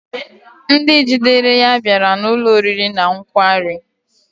Ndị jidere ya bịara n'ụlọ oriri na nkwari